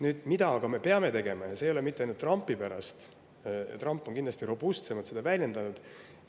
Aga mida me peame tegema, ja mitte ainult Trumpi pärast, kuigi Trump on kindlasti seda robustsemalt väljendanud?